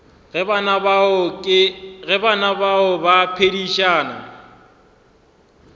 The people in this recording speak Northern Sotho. ge bana bao ba phedišana